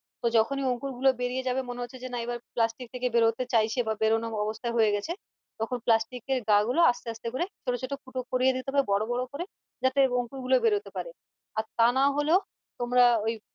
তো যখনই অংকুর গুলো বেরিয়ে যাবে মনে হচ্চে যে না এবার plastic থেকে বেরোতে চাইছে বা বেরোনো অবস্থায় হয়ে গেছে তখন plastic এর গা গুলো আসতে ছোটো ছোটো ফুটো করে দিতে হবে বড়ো করে যাতে অঙ্কুর বলে বেরোতে পারে আর তা না হলেও তোমরা আহ ওই